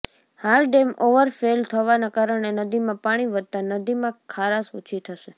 હાલ dam overflow થવાના કારણે નદીમાં પાણી વધતા નદીમાં ખારાશ ઓછી થશે